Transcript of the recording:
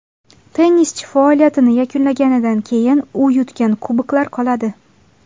Tennischi faoliyatini yakunlaganidan keyin u yutgan kuboklar qoladi.